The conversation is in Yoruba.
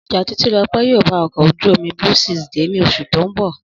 Ọjà Títílọpẹ́ yóò bá ọkọ̀ ojú-omi Blue Seas dé ní oṣù tó ń bọ̀